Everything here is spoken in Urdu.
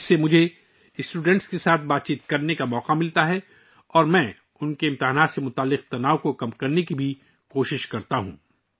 اس سے مجھے طلبہ کے ساتھ گفت و شنید کرنے کا موقع ملتا ہے، اور میں ان کے امتحان سے متعلق تناؤ کو کم کرنے کی بھی کوشش کرتا ہوں